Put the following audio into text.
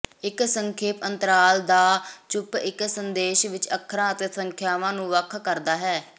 ਇੱਕ ਸੰਖੇਪ ਅੰਤਰਾਲ ਦਾ ਚੁੱਪ ਇੱਕ ਸੰਦੇਸ਼ ਵਿੱਚ ਅੱਖਰਾਂ ਅਤੇ ਸੰਖਿਆਵਾਂ ਨੂੰ ਵੱਖ ਕਰਦਾ ਹੈ